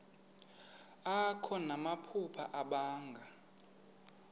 akho namaphupha abanga